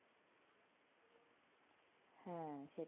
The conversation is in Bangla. হ্যাঁ সে